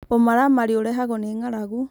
ũmaramarĩ ũrehagwo nĩ ng'aragu